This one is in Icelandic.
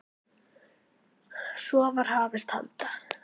Svo var hafist handa.